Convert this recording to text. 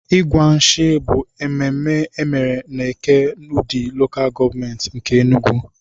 Ịgwa nshì bụ mmemme emere n'Eke, udi LGA nke Enugwu.